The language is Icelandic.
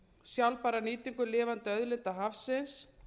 sjálfbæra nýtingu lifandi auðlinda hafsins